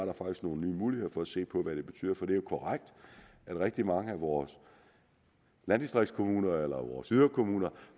nogle nye muligheder for at se på hvad det betyder for det er jo korrekt at rigtig mange af vores landdistriktskommuner eller vores yderkommuner